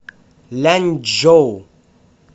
ляньчжоу